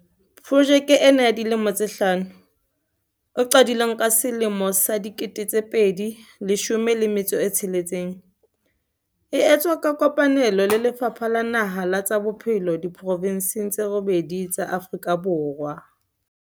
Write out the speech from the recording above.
Projeke ena ya dilemo tse hlano, e qadileng ka selemo sa 2016, e etswa ka kopane lo le Lefapha la Naha la tsa Bophelo diprovenseng tse robedi tsa Afrika Borwa.